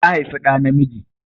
Ta haifi ɗa namiji.